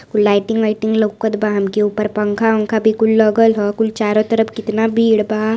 Lighting वाइटिंग लउकत बा। हमके ऊपर पंखा उन्खा भी कुल लगल ह कुल चारों तरफ कितना भीड़ बा।